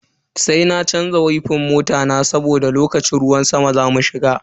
Sai na canza wifan mota na saboda lokacin ruwan sama zamu shiga.